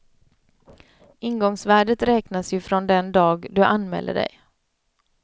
Ingångsvärdet räknas ju från den dag du anmäler dig.